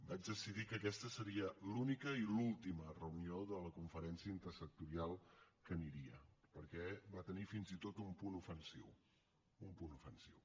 vaig decidir que aquesta seria l’única i l’última reunió de la conferència intersectorial a què aniria perquè va tenir fins i tot un punt ofensiu un punt ofensiu